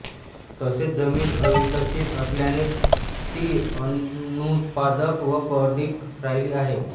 तसेच जमीन अविकसित असल्याने ती अनुत्पादक व पडीक राहिली आहे